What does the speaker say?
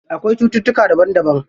Akwai cututtuka daban daban.